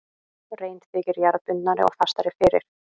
Rein þykir jarðbundnari og fastari fyrir.